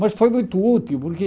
Mas foi muito útil, porque...